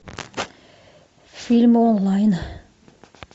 фильмы онлайн